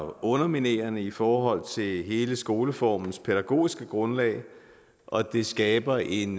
underminerende i forhold til hele skoleformens pædagogiske grundlag og det skaber en